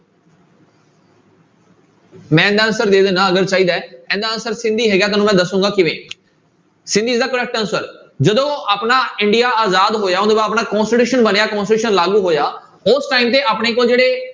ਮੈਂ ਇਹਦਾ answer ਦੇ ਦਿਨਾ ਹੈ ਇਹਦਾ answer ਸਿੰਧੀ ਹੈਗਾ ਤੁਹਾਨੂੰ ਮੈਂ ਦੱਸਾਂਗਾ ਕਿਵੇਂ Sindhi is the correct answer ਜਦੋਂ ਆਪਣਾ ਇੰਡੀਆ ਆਜ਼ਾਦ ਹੋਇਆ ਉਹ ਤੋਂ ਬਾਅਦ ਆਪਣਾ constitution ਬਣਿਆ constitution ਲਾਗੂ ਹੋਇਆ ਉਸ time ਤੇ ਆਪਣੇ ਕੋਲ ਜਿਹੜੇ